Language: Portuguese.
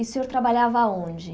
E o senhor trabalhava aonde?